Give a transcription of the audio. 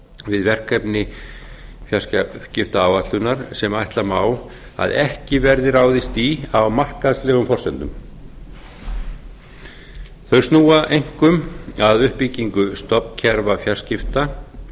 við verkefni fjarskiptaáætlunar sem ætla má að ekki verði ráðist í á markaðslegum forsendum þau snúa einkum að uppbyggingu stofnkerfa fjarskipta